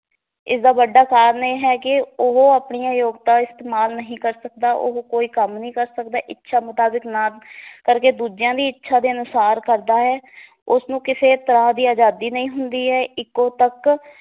ਇਸ ਦਾ ਵੱਡਾ ਕਾਰਨ ਇਹ ਹੈ ਕਿ ਉਹ ਆਪਣੀਆਂ ਯੋਗਤਾ ਇਸਤੇਮਾਲ ਨਹੀਂ ਕਰ ਸਕਦਾ, ਉਹ ਕੋਈ ਕੰਮ ਨਹੀਂ ਕਰ ਸਕਦਾ, ਇੱਛਾ ਮੁਤਾਬਕ ਨਾ ਕਰਕੇ ਦੂਜਿਆਂ ਦੀ ਇੱਛਾ ਦੇ ਅਨੁਸਾਰ ਕਰਦਾ ਹੈ ਉਸ ਨੂੰ ਕਿਸੇ ਤਰਾਂ ਦੀ ਅਜਾਦੀ ਨਹੀ ਹੁੰਦੀ ਏ ਇੱਕੋ ਪੱਕ